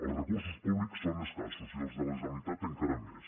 els recursos públics són escassos i els de la generalitat encara més